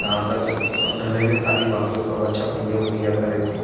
यहाँ तक अब ढलाइबे खली बाकी हे ओकरा बाद करे थी।